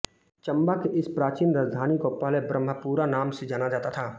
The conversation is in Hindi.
चंबा की इस प्राचीन राजधानी को पहले ब्रह्मपुरा नाम से जाना जाता था